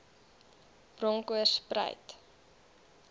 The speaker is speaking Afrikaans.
bronkoorspruit